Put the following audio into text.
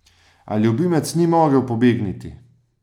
A ljubimec ni mogel pobegniti!